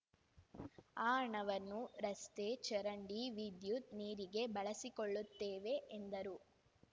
ಆ ಹಣವನ್ನು ರಸ್ತೆ ಚರಂಡಿ ವಿದ್ಯುತ್‌ ನೀರಿಗೆ ಬಳಸಿಕೊಳ್ಳುತ್ತೇವೆ ಎಂದರು